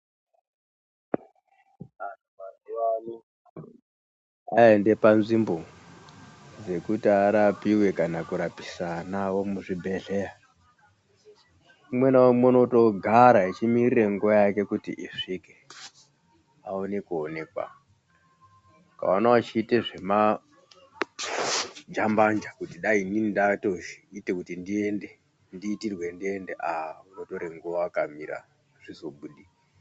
Anhu mazuwano aende panzvimbo dzekuti arapiwe kana kurapisa Ana awo muzvibhedhlera umwe naumwe unotogara echimirire nguwa yake kuti isvike aone kuonekwa , ukaona uchiita zvema jambanja kuti dai inini ndatoita kuti ndiende ndiitirwe ndiende aaa unotore nguwa wakamira azvizobudi.